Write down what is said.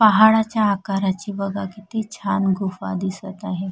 पहाडाच्या आकाराची बघा किती छान गुहा दिसत आहे.